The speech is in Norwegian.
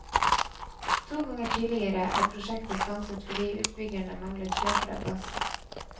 To ganger tidligere er prosjektet stanset fordi utbyggerne manglet kjøpere av gassen.